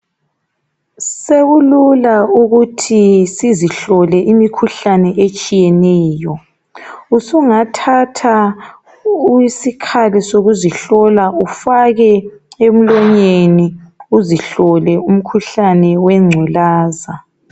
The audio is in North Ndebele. Sekulula ukuthi sizihlole imikhuhlane etshiyeneyo. Usungathatha isikhali sokuzihlola ufake emloyeni uzihlole umkhuhlane wengculaza.